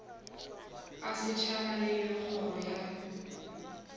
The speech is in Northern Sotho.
a setšhaba le kgoro ya